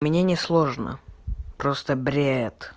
мне не сложно просто бред